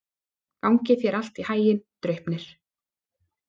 Gangi þér allt í haginn, Draupnir.